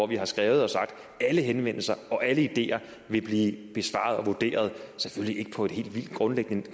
vi har skrevet og sagt at alle henvendelser og alle ideer vil blive besvaret og vurderet selvfølgelig ikke helt vildt grundigt men